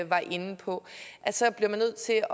var inde på så bliver man nødt til at